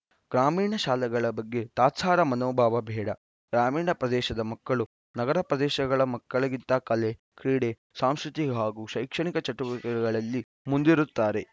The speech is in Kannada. ಗ್ರಾಮೀಣ ಶಾಲೆಗಳ ಬಗ್ಗೆ ತಾತ್ಸಾರ ಮನೋಭಾವ ಬೇಡ ಗ್ರಾಮೀಣ ಪ್ರದೇಶದ ಮಕ್ಕಳು ನಗರ ಪ್ರದೇಶಗಳ ಮಕ್ಕಳಿಗಿಂತ ಕಲೆ ಕ್ರೀಡೆ ಸಾಂಸ್ಕೃತಿಕ ಹಾಗೂ ಶೈಕ್ಷಣಿಕ ಚಟುವಟಿಕೆಗಳಲ್ಲಿ ಮುಂದಿರುತ್ತಾರೆ